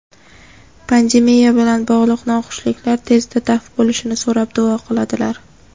pandemiya bilan bog‘liq noxushliklar tezda daf bo‘lishini so‘rab duo qiladilar.